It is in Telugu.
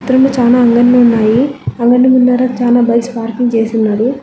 ఎదురుముగా చాలా అంగడిలు ఉన్నాయి అంగడి ముందర చాలా బైక్స్ పార్కింగ్ చేసి ఉన్నది.